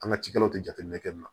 An ka cikɛlaw tɛ jateminɛ kɛ nin na